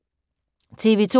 TV 2